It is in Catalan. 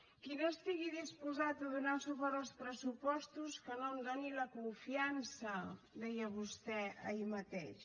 qui no estigui disposat a donar suport als pressupostos que no em doni la confiança deia vostè ahir mateix